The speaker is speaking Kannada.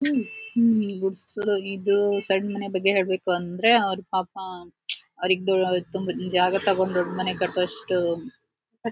ಗುಡುಸಲು ಇದು ಸಣ್ಣ ಮನೆ ಬಗ್ಗೆ ಹೇಳ್ಬೇಕು ಅಂದ್ರೆ ಅವರು ಪಾಪಾ ಅವ್ರಿಗೆ ತುಂಬ ಜಾಗ ತೊಕ್ಕೊಂಡ್ ದೊಡ್ಡ್ ಮನೆ ಕಟ್ಟುವಷ್ಟು --